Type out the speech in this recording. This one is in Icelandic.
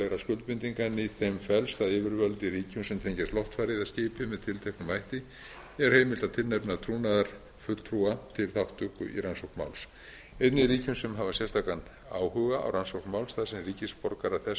skuldbindinga en í þeim felst að yfirvöld í ríkjum sem tengjast loftfari eða skipi með tilteknum hætti er heimilt að tilnefna trúnaðarfulltrúa til þátttöku í rannsókn máls þeir sem hafa sérstakan áhuga á rannsókn máls þar sem ríkisborgarar þess hafa látist eða